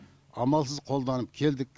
амалсыз қолданып келдік